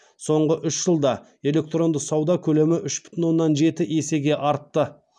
соңғы үш жылда электронды сауда көлемі үш бүтін оннан жеті есеге артты